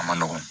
A man nɔgɔn